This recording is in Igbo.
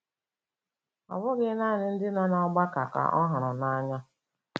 Ọ bụghị naanị ndị nọ n’ọgbakọ ka ọ hụrụ n’anya.